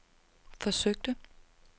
forsøgte